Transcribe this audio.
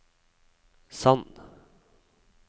Sand